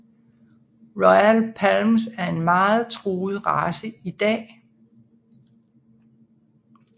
Royal Palms er en meget truet race i dag